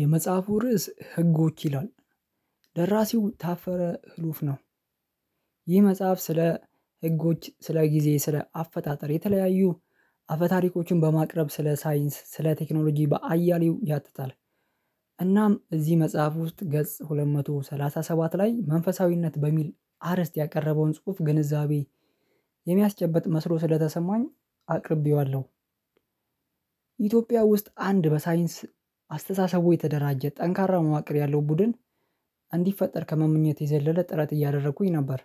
የመጽሐፉ ርዕስ ህጎች ይላል። ደራሲው ታፈረ ህሉፍ ነው። ይህ መጽሐፍ ስለ ህጎች ስለ ጊዜ ስለ አፈጣጠር የተለያዩ አፈ ታሪኮችን በማቅረብ ስለ ሳይንስ ስለ ቴክኖሎጂ በአያሌው ያጥታል። እናም እዚህ መጽሐፍ ውስጥ ገጽ ሁለት መቶ ሰላሳ ሰባት ላይ መንፈሳዊነት በሚል አርእስት ያቀረበውን ጽሁፍ ግንዛቤ የሚያስጨብጥ መስሎ ስለተሰማኝ አቅርቤዋለሁ። ኢትዮጵያ ውስጥ አንድ በሳይንስ አስተሳሰቡ የተደራጀ ጠንካራ መዋቅር ያለው ቡድን እንዲፈጠር ከመመኘት የዘለለ ጥረት እያደረኩኝ ነበር።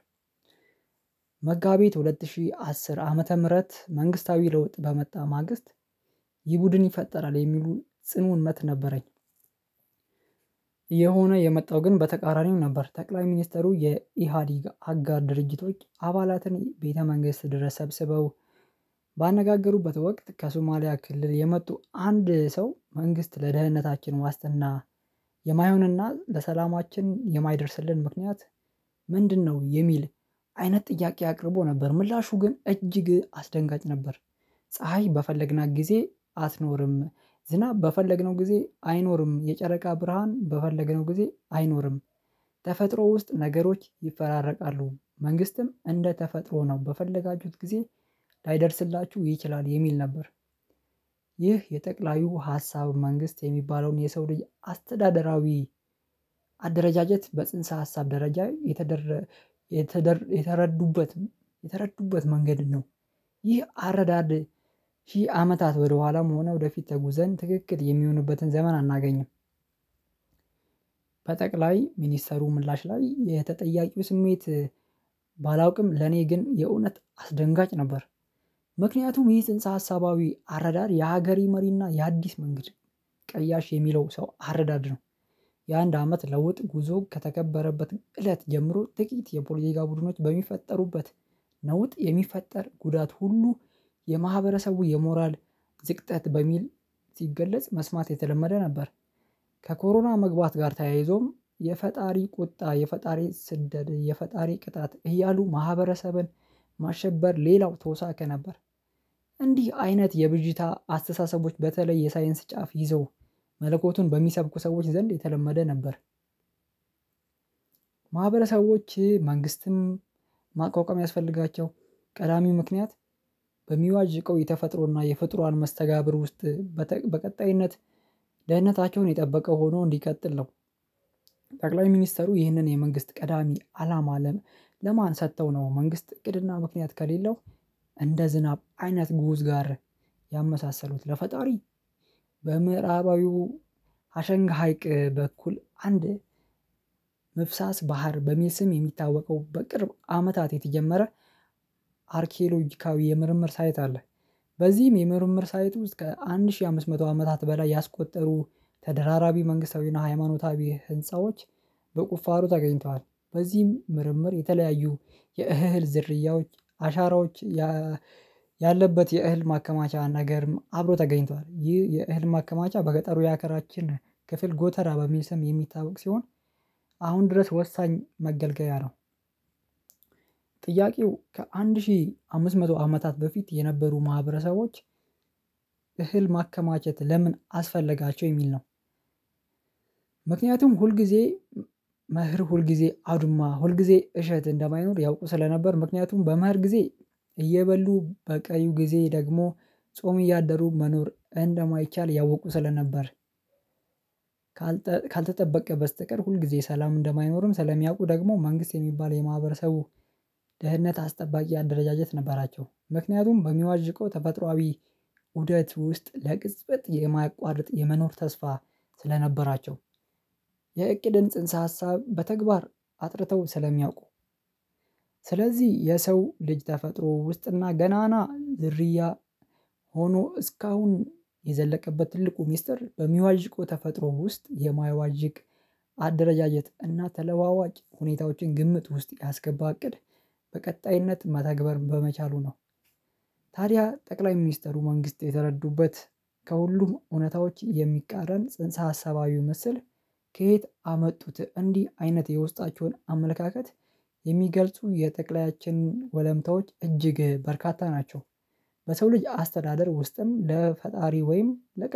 መጋቢት ሁለት ሺህ አስር ዓመተ ምህረት መንግስታዊ ለውጥ በመጣ ማግስት ይህ ቡድን ይፈጠራል የሚሉ ጽኑ እምነትነበረኝ። እየሆነ የመጣው ግን በተቃራኒው ነበር። ጠቅላይ ሚኒስትሩ የኢሃዲግ አጋር ድርጅቶች አባላትን ቤተ መንግስት ድረስ ሰብስበው ባነጋገሩበት ወቅት ከሶማሊያ ክልል የመጡ አንድ ሰው መንግስት ለደህንነታችን ዋስትና የማይሆንና ለሰላማችን የማይደርስልን ምክንያት ምንድነው? የሚል አይነት ጥያቄ አቅርቦ ነበር ምላሹ ግን እጅግ አስደንጋጭ ነበር። ፀሀይ በፈለግናት ጊዜ አትኖርም ዝናብ በፈለግነው ጊዜ አይኖርም የጨረቃ ብርሃን በፈለገነው ጊዜ አይኖርም። ተፈጥሮ ውስጥ ነገሮች ይፈራረቃሉ መንግስትም እንደ ተፈጥሮ ነው በፈለጋችሁት ጊዜ ላይደርስላችሁ ይችላል የሚል ነበር። ይህ የጠቅላዩ ሀሳብ መንግስት የሚባለውን የሰው ልጅ አስተዳደራዊ አደረጃጀት በጽንሰ ሀሳብ ደረጃ የተደረ የተደረ የተረዱበትም የተረዱበት መንገድ ነው። ይህ አረዳድ ሺህ አመታት ወደኋላም ሆነ ወደፊት ተጉዘን ትክክል የሚሆኑበትን ዘመን አናገኝም። ባይ ሚኒስተሩ ምላሽ ላይ የተጠያቂው ስሜት ባላውቅም ለኔ ግን የእውነት አስደንጋጭ ነበር። ምክንያቱም ይህ ጽንሰ ሀሳባዊ አረዳድ የሀገሪ መሪና የአዲስ መንገድ ቀያሽ የሚለው ሰው አረዳድ ነው። የአንድ አመት ለውጥ ጉዞ ከተከበረበት እለት ጀምሮ ጥቂት የፖልቲጋ ቡድኖች በሚፈጠሩበት ነውጥ የሚፈጠር ጉዳት ሁሉ የማህበረሰቡ የሞራል ዝቅጠት በሚል ሲገለጽ መስማት የተለመደ ነበር። ከኮሮና መግባት ጋር ተያይዞም የፈጣሪ ቁጣ የፈጣሪ ስንደድ የፈጣሪ ቅጣት እያሉ ማህበረሰብን ማሸበር ሌላው ተወሳክ ነበር። እንዲህ አይነት የብዥታ አስተሳሰቦች በተለይ የሳይንስ ጫፍ ይዘው መለኮቱን በሚሰብኩ ሰዎች ዘንድ የተለመደ ነበር። ማህበረሰቦች መንግስትም ማቋቋም ያስፈልጋቸው ቀዳሚው ምክንያት በሚዋጅቀው የተፈጥሮና የፍጡራን መስተጋብር ውስጥ በቀጣይነት ደህንነታቸውን የጠበቀ ሆኖ እንዲቀጥል ነው። ጠቅላይ ሚኒስተሩ ይህንን የመንግስት ቀዳሚ አላማ አለም ለማን ሰጥተው ነው መንግስት እቅድና ምክንያት ከሌለው እንደ ዝናብ አይነት ጉዞ ጋር ያመሳሰሉት ለፈጣሪ በምዕራባዊው አሸንጋ ሀይቅ በኩል አንድ መፍሳስ ባህር በሚል ስም የሚታወቀው በቅርብ አመታት የተጀመረ አርኪሎጂካዊ የምርምር ሳይት አለ። በዚህም የምርምር ሳየት ውስጥ እስከ አንድ ሺህ አምስት መቶ አመታት በላይ ያስቆጠሩ ተደራራቢ መንግስታዊና ሃይማኖታዊ ህንፃዎች በቁፋሮ ተገኝተዋል። በዚህም ምርምር የተለያዩ የእህል ዝርያዎች አሻራዎች ያለበት የእህል ማከማቻ ነገርም አብሮ ተገኝቷል ይህ የእህል ማከማቻ በገጠሩ ያገራችን ክፍል ጎተራ በሚል ስም የሚታወቅ ሲሆን አሁን ድረስ ወሳኝ መገልገያ ነው። ጥያቄው ከአንድ ሺህ አምስት መቶ አመታት በፊት የነበሩ ማህበረሰቦች እህል ማከማቸት ለምን አስፈለጋቸው የሚል ነው። ምክንያቱም ሁል ሁልጊዜ መህር ሁልጊዜ አዱማ ሁልጊዜ እሸት እንደማይኖር ያው ስለነበር ምክንያቱም በማር ጊዜ እየበሉ በቀዩ ጊዜ ደግሞ ጾም እያደሩ መኖር እንደማይቻል ያወቁ ስለነበር። ካልተጠበቀ በስተቀር ሁል ጊዜ ሰላም እንደማይኖርም ስለሚያውቁ ደግሞ መንግስት የሚባል የማህበረሰቡ ደህንነት አስጠባቂ አደረጃጀት ነበራቸው። ምክንያቱም በሚዋዥቀው ተፈጥሮአዊ ውደት ውስጥ ለቅጽበት የማያቋርጥ የመኖር ተስፋ ስለነበራቸው የእቅድን ጽንሰ ሀሳብ በተግባር አጥርተው ስለሚያውቁ። ስለዚህ የሰው ልጅ ተፈጥሮ ውስጥና ገናና ዝርያ ሆኖ እስካሁን የዘለቀበት ትልቁ ሚስጥር በሚዋዥቁ ተፈጥሮ ውስጥ የማያዋዥቅ አደረጃጀት እና ተለዋዋጭ ሁኔታዎችን ግምት ውስጥ ያስገባ እቅድ በቀጣይነት ማታግበር በመቻሉ ነው። ታዲያ ጠቅላይ ሚኒስትሩ መንግስት የተረዱበት ከሁሉም እውነታዎች የሚቃረን ጽንሰ አሰባዊው መስል ከየት አመጡት? እንዲህ አይነት የውስጣቸውን አመለካከት የሚገልጹ የጠቅላያችን ወለምታዎች እጅግ በርካታ ናቸው። በሰው ልጅ አስተዳደር ውስጥም ለፈጣሪ ወይም ለ